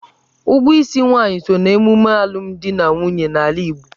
Ụgwọ isi nwaanyị so n'ememe alụmdi na nwunye n'ala Igbo.